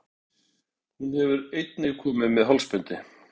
Hún hefur einnig komið með hálsbindi.